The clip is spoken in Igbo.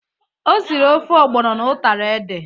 O siri ofe ọgbọnọ na utara ede.